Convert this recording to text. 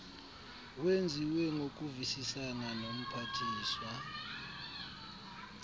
wenziwe ngokuvisisana nomphathiswa